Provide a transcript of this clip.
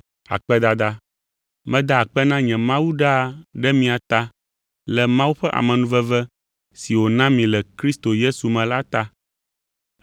Meda akpe na nye Mawu ɖaa ɖe mia ta le Mawu ƒe amenuveve si wòna mi le Kristo Yesu me la ta.